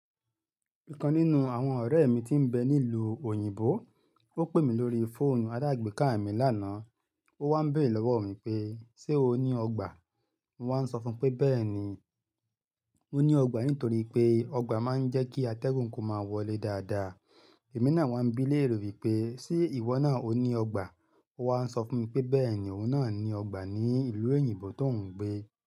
I kan nínú àwọn ọ̀rẹ́ mi tí ń bẹ ní ìlú òyìnbó, ó pè mí lórí fóònù aládàgbé káà mi lánàá. Ó wá ń béèrè lọ́wọ́ mi pé, "Ṣé o ní ọgbà?" Mo wá ń sọ fún pé bẹ́ẹ̀ ni, mo ní ọgbà nítorí pé ọgbà máa ń jẹ́ kí atẹ́gùn kó máa wọlé dáadáa. Ẹ̀mí náà wá ń bí léèrè wípé, "Ṣé ìwọ náà ó ní ọgbà?" Wa ń sọ fún pé bẹ́ẹ̀ ni, òun náà ní ọgbà ní ìlú òyìnbó tó ń gbé.